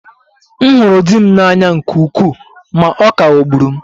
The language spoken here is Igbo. M hụrụ di m n'anya nke ukwuu ma ọ ka ghọgburu m